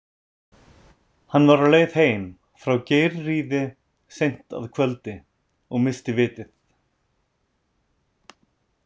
Hann var á leið heim frá Geirríði seint á kvöldi og missti vitið.